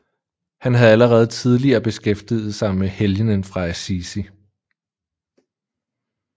Han havde allerede tidligere beskæftiget sig med helgenen fra Assisi